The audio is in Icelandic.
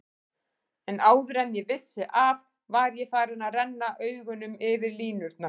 En áður en ég vissi af var ég farinn að renna augunum yfir línurnar.